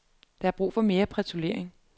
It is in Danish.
Der er brug for mere patruljering.